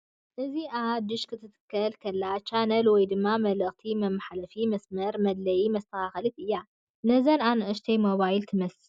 እዚኣ ናይ ድሽ ክትተክል ከለኻ ቻነላት ወይ ድማ መልእኽቲ መምሓላለፍቲ መስመራት መድለይትን መስተኻኸሊትን እያ፡ ነዘን ኣናኡሽተይ ሞባይል ትመስል እያ ።